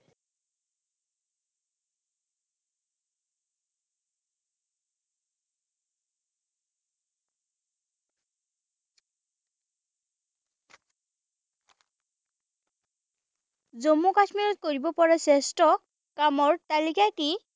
জম্মু কাশ্মীৰত কৰিব পৰা শ্ৰেষ্ঠ কামৰ তালিকা কি?